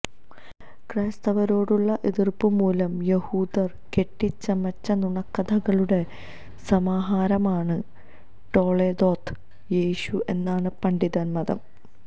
ക്രൈസ്തവരോടുള്ള എതിർപ്പുമൂലം യഹൂദർ കെട്ടിച്ചമച്ച നുണക്കഥകളുടെ സമാഹാരമാണ് ടൊളേദോത്ത് യേഷു എന്നാണ് പണ്ഡിതമതം